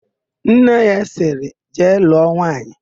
Nne ya sịrị, "jee lụọ nwaanyị"!